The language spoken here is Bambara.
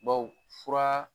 Bawo fura